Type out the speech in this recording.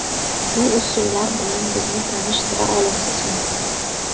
Bu usullar bilan bizni tanishtira olasizmi?